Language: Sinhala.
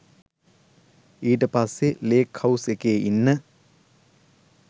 ඊට පස්සේ ලේක්හවුස් එකේ ඉන්න